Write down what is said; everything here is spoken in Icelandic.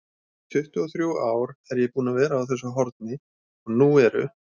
tuttugu-og-þrjú ár er ég búinn að vera á þessu horni og nú eru